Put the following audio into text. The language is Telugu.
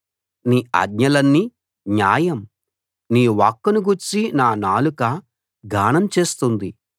నీ ఆజ్ఞలన్నీ న్యాయం నీ వాక్కును గూర్చి నా నాలుక గానం చేస్తుంది